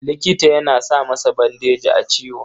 Likita yana sa masa bandeji a ciwo.